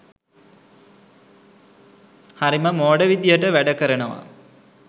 හරිම මෝඩ විදිහට වැඩ කරනවා